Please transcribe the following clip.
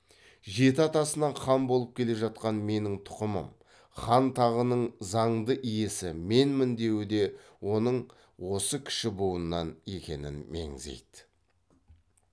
жеті атасынан хан болып келе жатқан менің тұқымым хан тағының заңды иесі менмін деуі де оның осы кіші буыннан екенін меңзейді